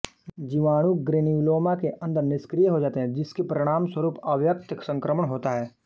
जीवाणु ग्रेन्युलोमा के अंदर निष्क्रिय हो जाते हैं जिसके परिणामस्वरूप अव्यक्त संक्रमण होता है